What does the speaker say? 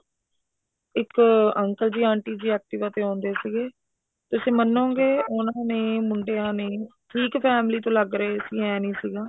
ਇੱਕ uncle ji aunty ji active ਤੇ ਆਉਂਦੇ ਸੀਗੇ ਤੁਸੀਂ ਮੰਨੋਗੇ ਉਹਨਾ ਨੇ ਮੁੰਡਿਆਂ ਨੇ ਠੀਕ family ਤੋਂ ਲੱਗ ਰਹੇ ਸੀ ਏਂ ਨੀ ਸੀਗਾ